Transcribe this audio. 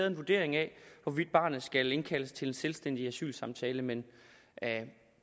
en vurdering af hvorvidt barnet skal indkaldes til en selvstændig asylsamtale men